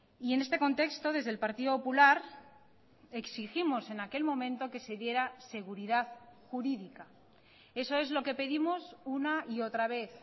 y en este contexto desde el partido popular exigimos en aquel momento que se diera seguridad jurídica eso es lo que pedimos una y otra vez